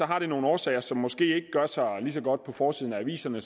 har det nogle årsager som måske ikke gør sig lige så godt på forsiden af aviserne